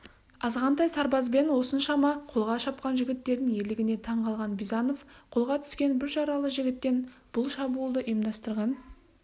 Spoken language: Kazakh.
азғантай сарбазбен осыншама қолға шапқан жігіттердің ерлігіне таң қалған бизанов қолға түскен бір жаралы жігіттен бұл шабуылды ұйымдастырған